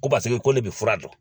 Ko paseke ko ne bi fura dɔn